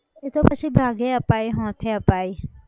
એતો પછી ભાગે અપાય હોંથે અપાય